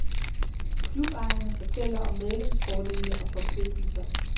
Klubejerne fortæller om medlemsfordele og forpligtelser.